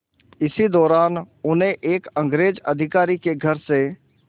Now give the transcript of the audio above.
इसी दौरान उन्हें एक अंग्रेज़ अधिकारी के घर से